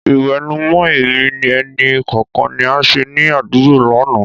Ìwẹ̀nùmọ́ ẹ̀mí ẹnì kọ̀ọ̀kan ni a ṣe ní àdúgbò lánàá.